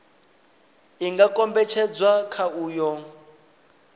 i nga kombetshedzwa kha uyo